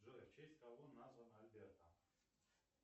джой в честь кого названа альберта